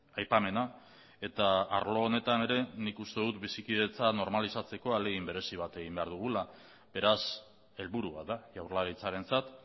aipamena eta arlo honetan ere nik uste dut bizikidetza normalizatzeko ahalegin berezi bat egin behar dugula beraz helburu bat da jaurlaritzarentzat